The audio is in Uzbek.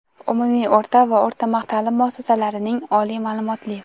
Umumiy o‘rta va o‘rta maxsus taʼlim muassasalarining oliy maʼlumotli;.